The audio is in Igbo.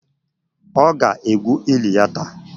Ọ ga-egwu eli ya taa.